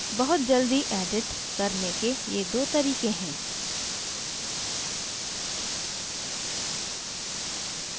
बहुत जल्दी edit करने के ये दो तरीके हैं